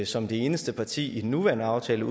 som det eneste parti i den nuværende aftale